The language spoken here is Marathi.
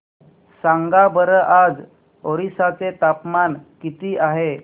सांगा बरं आज ओरिसा चे तापमान किती आहे